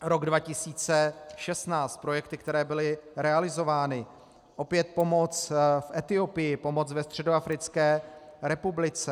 Rok 2016 - projekty, které byly realizovány: Opět pomoc v Etiopii, pomoc ve Středoafrické republice.